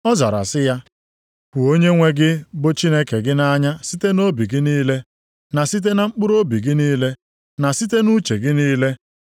Ọ zara sị ya, “ ‘Hụ Onyenwe gị bụ Chineke gị nʼanya site nʼobi gị niile na site na mkpụrụobi gị niile, na site nʼuche gị niile.’ + 22:37 \+xt Dit 6:5\+xt*